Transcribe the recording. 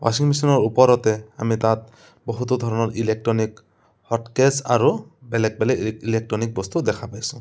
ৱাচিং মেচিন ৰ ওপৰতে আমি তাত বহুতো ধৰণৰ ইলেকট্ৰনিক হতকেছ আৰু বেলেগ বেলেগ ই ইলেকট্ৰনিক বস্তু দেখা পাইছোঁ।